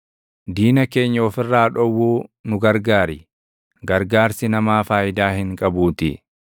Diina keenya of irraa dhowwuu nu gargaar, gargaarsi namaa faayidaa hin qabuutii.